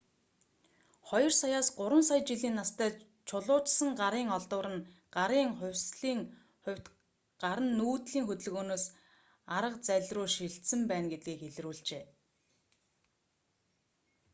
2 саяаас 3 сая жилийн настай чулуужсан гарын олдвор нь гарын хувьсалын хувьд гар нь нүүдлийн хөдөлгөөнөөс арга зальруу шилжсэн байна гэдгийн илрүүлжээ